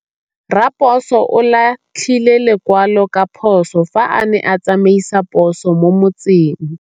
Raposo o latlhie lekwalô ka phosô fa a ne a tsamaisa poso mo motseng.